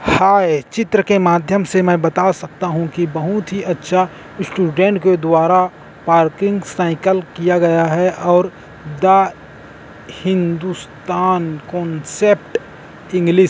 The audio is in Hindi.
हाय चित्र के माध्यम से मैं बता सकता हूं कि बहोत ही अच्छा स्टूडेंट के द्वारा पार्किंग साइकिल किया गया है और द हिंदुस्तान कॉन्सेप्ट इंग्लिश --